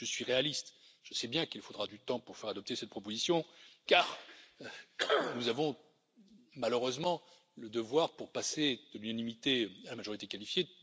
Je suis réaliste, je sais bien qu'il faudra du temps pour faire adopter cette proposition car nous avons, malheureusement, le devoir de requérir l'unanimité pour passer de l'unanimité à la majorité qualifiée.